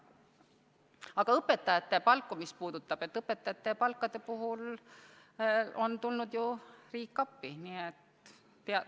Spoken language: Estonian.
Aga mis puudutab õpetajate palku, siis õpetajate palkade puhul on ju riik appi tulnud.